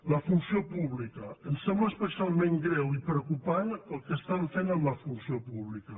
la funció pública ens sembla especialment greu i preocupant el que estan fent amb la funció pública